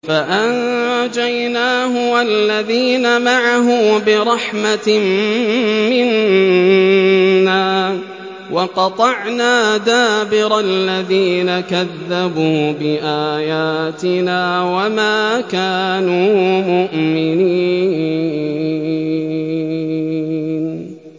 فَأَنجَيْنَاهُ وَالَّذِينَ مَعَهُ بِرَحْمَةٍ مِّنَّا وَقَطَعْنَا دَابِرَ الَّذِينَ كَذَّبُوا بِآيَاتِنَا ۖ وَمَا كَانُوا مُؤْمِنِينَ